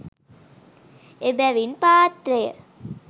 එබැවින් පාත්‍රය